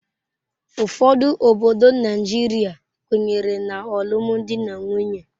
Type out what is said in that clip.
Ụfọdụ obodo Naijiria kwenyere na alụmdi na nwunye.